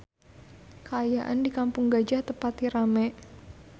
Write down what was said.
Kaayaan di Kampung Gajah teu pati rame